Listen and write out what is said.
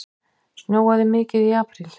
Snjóaði mikið í apríl?